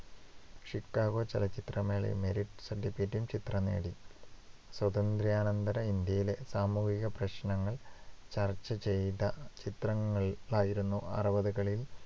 Chicago ചലച്ചിത്രമേളയിൽ merit certificate ഉം ചിത്രം നേടി. സ്വാതന്ത്ര്യാനന്തര ഇന്ത്യയിലെ സാമൂഹിക പ്രശ്നങ്ങൾ ചർച്ച ചെയ്ത ചിത്രങ്ങളായിരുന്നു അറുപതുകളിൽ